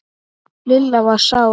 Lilla var sár.